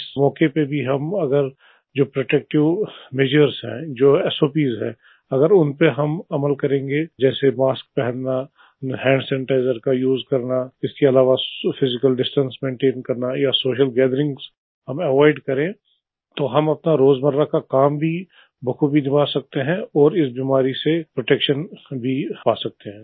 इस मौके पर भी जो प्रोटेक्टिव मेजर्स है जो सॉप्स है अगर उन पर हम अमल करेंगें जैसे मास्क पहनना हैंड सैनिटाइजर का उसे करना उसके अलावा फिजिकल डिस्टेंस मेंटेन करना या सोशल गैथरिंग एवॉयड करे तो हम अपना रोजमर्रा का काम भी बखूबी निभा सकते हैं और इस बीमारी से प्रोटेक्शन भी पा सकते हैं